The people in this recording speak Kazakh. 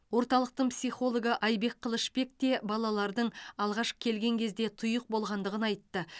орталықтың психологы айбек қылышбек те балалардың алғаш келген кезде тұйық болғандығын айтты